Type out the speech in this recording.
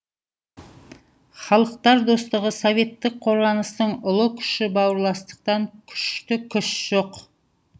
халықтар достығы советтік қорғаныстың ұлы күші бауырластықтан күшті күш жоқ